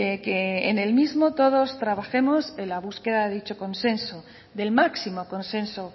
que en el mismo todos trabajemos en la búsqueda de dicho consenso del máximo consenso